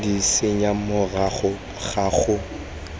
d senya morago ga go